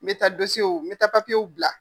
N bɛ taa n bɛ taa papiyew bila.